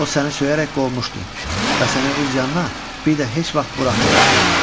O səni söyərək qovmuşdu və səni öz yanına bir də heç vaxt buraxmayacaq.